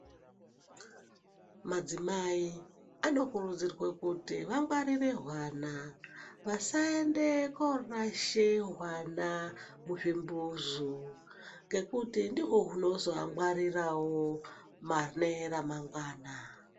Madzimai anokurudzirwe kuti angwarire hwana. Vasaende korashe hwana muzvimbuzu ngekuti ndihwo hu nozoangwarirawo pane remangwana.